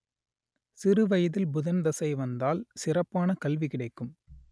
சிறுவயதில் புதன் தசை வந்தால் சிறப்பான கல்வி கிடைக்கும்